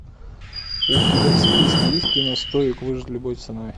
у тебя в списке есть кино стоик выжить любой ценой